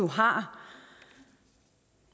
har